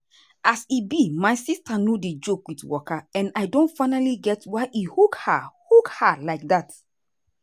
as e be my sister no dey joke with waka and i don finally get why e hook her hook her like dat.